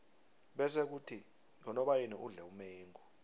bese khuthi ngonobayeni udle umengo